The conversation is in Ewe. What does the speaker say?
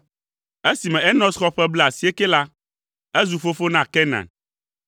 Esime Enos xɔ ƒe blaasiekɛ la, ezu fofo na Kenan,